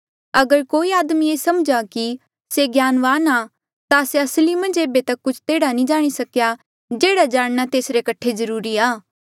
अगर कोई आदमी ये समझ्हा कि से ज्ञानवान आ ता से असली मन्झ ऐबे तक कुछ तेहड़ा जाणी ही नी सकेया जेहड़ा जाणना तेसरे कठे जरूरी आ